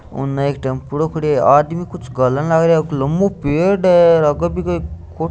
उनने एक टेम्पोडॉ खड़ो है आदमी कुछ घालन लाग रा है एक लंबो पेड़ है --